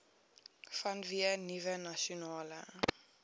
vanweë nuwe nasionale